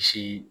Si